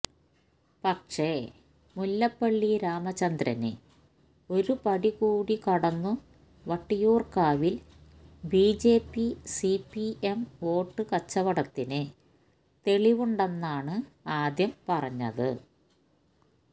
പക്ഷെ മുല്ലപ്പള്ളി രാമചന്ദ്രന് ഒരു പടി കൂടി കടന്നു വട്ടിയൂര്ക്കാവില് ബിജെപി സിപിഎം വോട്ടു കച്ചവടത്തിന് തെളിവുണ്ടെന്നാണ് ആദ്യം പറഞ്ഞത്